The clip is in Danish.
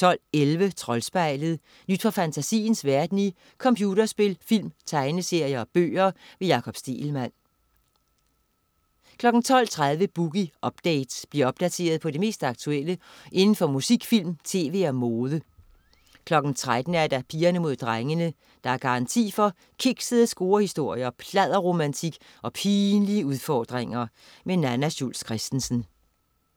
12.11 Troldspejlet. Nyt fra fantasiens verden i computerspil, film, tegneserier og bøger. Jakob Stegelmann 12.30 Boogie Update. Bliv opdateret på det mest aktuelle inden for musik, film, tv og mode 13.00 Pigerne Mod Drengene. Der er garanti for kiksede scorehistorier, pladderromantik og pinlige udfordringer. Nanna Schultz Christensen